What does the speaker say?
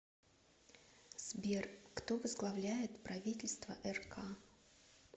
сбер кто возглавляет правительство рк